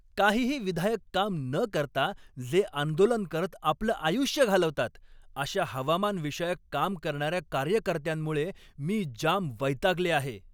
काहीही विधायक काम न करता जे आंदोलन करत आपलं आयुष्य घालवतात अशा हवामानविषयक काम करणाऱ्या कार्यकर्त्यांमुळे मी जाम वैतागले आहे.